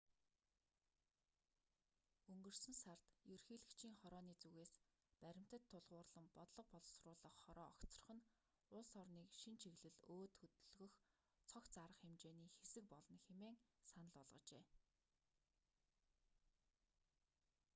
өнгөрсөн сард ерөнхийлөгчийн хорооны зүгээс баримтад тулгуурлан бодлого боловсруулах хороо огцрох нь улс орныг шинэ чиглэл өөд хөдөлгөх цогц арга хэмжээний хэсэг болно хэмээн санал болгожээ